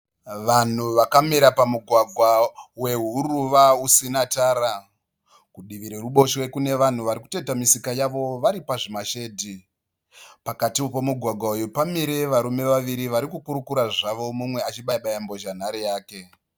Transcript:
Vanhu vakamira pamugwagwa wehuruva usina tara. Kudivi reruboshwe kune vanhu vari kutoita misika yavo vari pazvimashedhi. Pakatiwo pomugwagwa uyu pamire varume vaviri vari kukurukura zvavo mumwe achibaya baya mbozhanhare yake.